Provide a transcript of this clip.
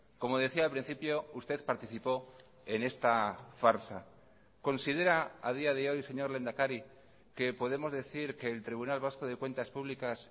como decía al principio usted participó en esta farsa considera a día de hoy señor lehendakari que podemos decir que el tribunal vasco de cuentas públicas